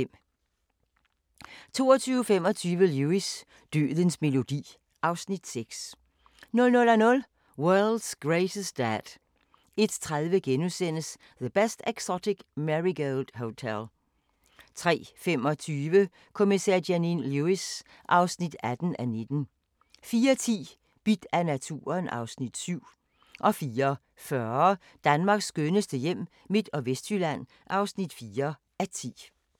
22:25: Lewis: Dødens melodi (Afs. 6) 00:00: World's Greatest Dad 01:30: The Best Exotic Marigold Hotel * 03:25: Kommissær Janine Lewis (18:19) 04:10: Bidt af naturen (Afs. 7) 04:40: Danmarks skønneste hjem – Midt- og Vestjylland (4:10)